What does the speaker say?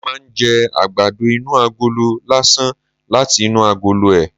Mo máa ń jẹ àgbàdo inú agolo lásán láti inú agolo ẹ̀